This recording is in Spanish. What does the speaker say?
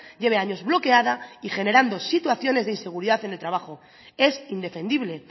lleve años bloqueada y generando situaciones de inseguridad en el trabajo es indefendible